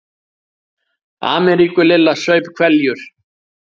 Ameríku Lilla saup hveljur.